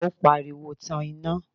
ó pariwo, Tan iná!